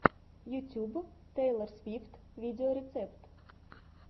ютюб тейлор свифт видеорецепт